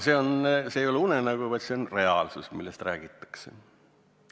See ei ole unenägu, see on reaalsus, millest räägitakse.